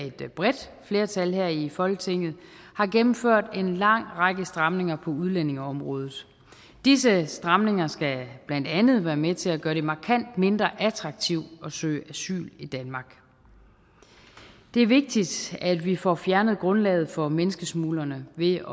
et bredt flertal her i folketinget har gennemført en lang række stramninger på udlændingeområdet disse stramninger skal blandt andet være med til at gøre det markant mindre attraktivt at søge asyl i danmark det er vigtigt at vi får fjernet grundlaget for menneskesmuglerne ved